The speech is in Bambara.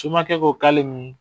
Somakɛ k'o k'ale mun